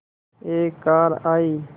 एक कार आई